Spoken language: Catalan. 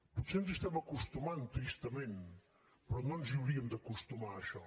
potser ens hi estem acostumant tristament però no ens hi hauríem d’acostumar a això